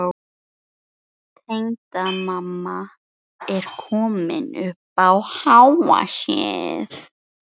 Tengdamamma er komin upp á háa sé-ið.